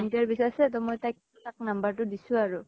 volunteer বিছাৰিছে ত মই তাইক number টো দিছো আৰু।